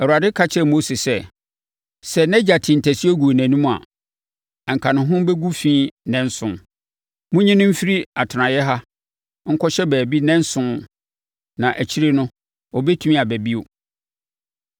Awurade ka kyerɛɛ Mose sɛ, “Sɛ nʼagya tee ntasuo guu nʼanim a, anka ne ho bɛgu fi nnanson. Monyi no mfiri atenaeɛ ha nkɔhyɛ baabi nnanson na akyire no, ɔbɛtumi aba bio.”